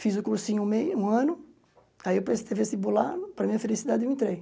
Fiz o cursinho um me um ano, aí eu prestei vestibular, para minha felicidade eu entrei.